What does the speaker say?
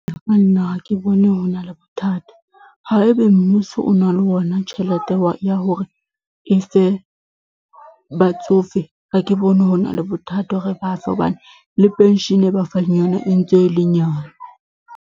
Ho ya nna ha ke bone ho na le bothata haebe mmuso o na le yona tjhelete ya hore e fe batsofe ha ke bone ho na le bothata hore ba fe hobane le penshene e ba fang yona e ntse e le nyane.